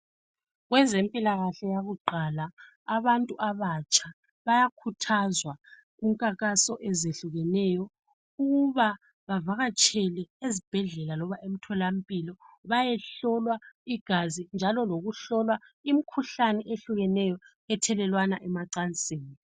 Kwezempilakahle yakuqala, abantu abatsha bakhuthazwa kumkhankaso ezehlukeneyo ukuba bavakatshele ezibhedlela loba emtholampilo bayehlolwa igazi njalo lokuhlolwa njalo lokuhlolwa imkhuhlane eyehlukeneyo thelelwana emacansini.